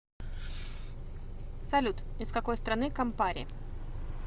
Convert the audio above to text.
салют из какой страны кампари